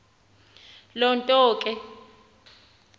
loo nto ke